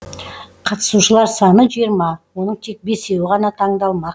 қатысушылар саны жиырма оның тек бесеуі ғана таңдалмақ